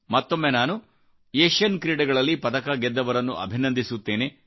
ಮತ್ತೊಮ್ಮೆ ನಾನು ಏಷಿಯನ್ ಕ್ರೀಡೆಗಳಲ್ಲಿ ಪದಕ ಗೆದ್ದವರನ್ನುಅಭಿನಂದಿಸುತ್ತೇನೆ